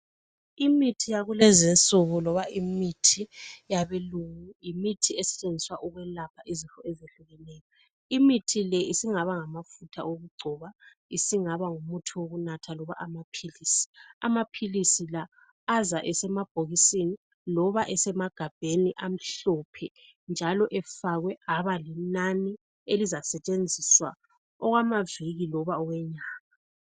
Imithi yakulezi insuku loba imithi yabelungu yimithi esetshenziswa ukulapha izifo etshiyeneyo. Imithi le singaba ngamafutha okugcoba isingaba ngumuthi yokunatha loba amaphilisi . Amaphilisi la aza esemabhokisini loba esemagabheni amhlophe njalo efakwe abalinani elizasetshenziswa okwamaviki noma okwenyanga